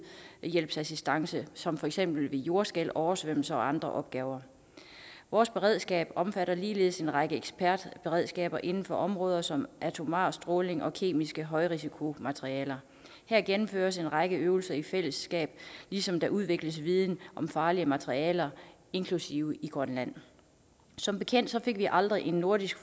nødhjælpsassistance som for eksempel ved jordskælv oversvømmelser og andre opgaver vores beredskab omfatter ligeledes en række ekspertberedskaber inden for områder som atomar stråling og kemiske højrisikomaterialer her gennemføres en række øvelser i fællesskab ligesom der udvikles viden om farlige materialer inklusive i grønland som bekendt fik vi aldrig en nordisk